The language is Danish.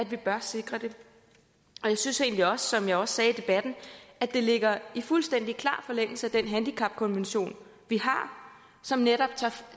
vi bør sikre det og jeg synes egentlig også som jeg også sagde i debatten at det ligger i fuldstændig klar forlængelse af den handicapkonvention vi har som netop